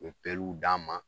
U ye d' an ma